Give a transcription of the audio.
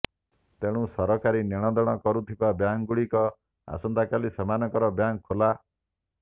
ତେଣୁ ସରକାରୀ ନେଣଦେଣ କରୁଥିବା ବ୍ୟାଙ୍କ ଗୁଡିକ ଆସନ୍ତାକାଲି ସେମାନଙ୍କର ବ୍ୟାଙ୍କ୍ ଖୋଲା